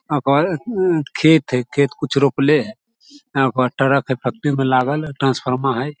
ओय के बाद खेत हेय खेत मे कुछ रोपले हेय एगो ट्रक हेय फैक्ट्री मे लगल ट्रांसफार्मर हेय ।